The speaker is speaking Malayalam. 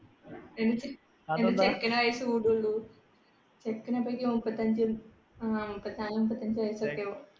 എനിക്ക്